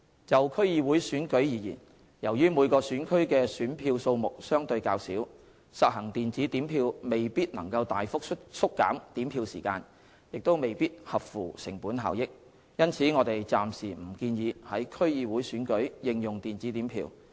就區議會選舉而言，由於每個選區的選票數目相對較少，實行電子點票未必能大幅縮減點票時間，亦未必合乎成本效益，因此我們暫時不建議於區議會選舉應用電子點票。